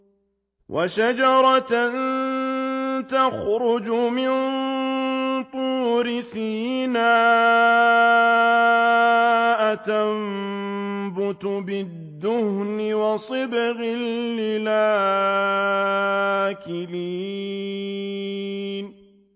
وَشَجَرَةً تَخْرُجُ مِن طُورِ سَيْنَاءَ تَنبُتُ بِالدُّهْنِ وَصِبْغٍ لِّلْآكِلِينَ